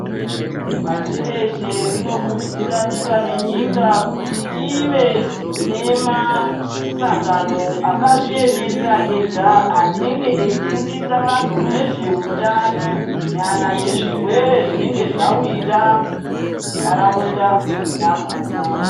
Pashi reshe rinokurudzira nyika nenyika kuti ive nemasangano akazviemerera Rega anenge eifundisa vanhu nezveutano nana zvirwere zvinenge zvawira nharaunda yakhona.